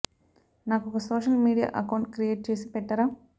నాకు ఒక social media account create చేసి పెట్టరా